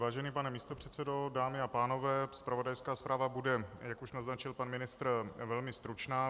Vážený pane místopředsedo, dámy a pánové, zpravodajská zpráva bude, jak už naznačil pan ministr, velmi stručná.